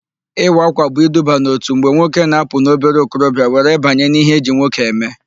Ịwa ákwà bụ iduba n'òtù mgbe nwoke na-apụ n'obere okorobịa were banye n'ihe eji nwoke eme.